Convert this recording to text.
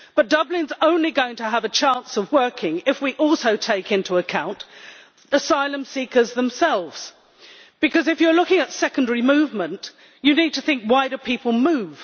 Dublin is only going to have a chance of working if we also take into account asylum seekers themselves, because if you are looking at secondary movement, you need to think why do people move?